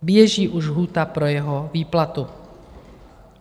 Běží už lhůta pro jeho výplatu.